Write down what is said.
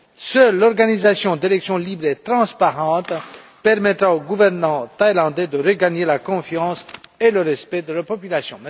Seule l'organisation d'élections libres et transparentes permettra au gouvernement thaïlandais de regagner la confiance et le respect de la population.